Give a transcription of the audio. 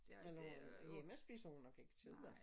Men når hun er hjemme spiser hun nok ikke kød altså